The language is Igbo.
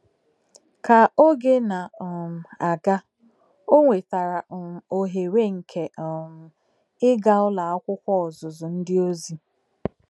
Ka oge na um - aga, o nwetara um ohere nke um ịga Ụlọ Akwụkwọ Ọzụzụ Ndị Ozi.